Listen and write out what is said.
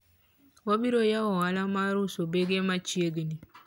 wabiro yawo ohala mar uso bege machiegni